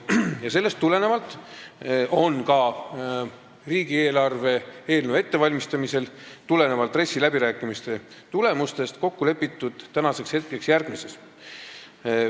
Ja RES-i läbirääkimiste tulemusel ja riigieelarve eelnõu ettevalmistamisel on praeguseks kokku lepitud järgmises.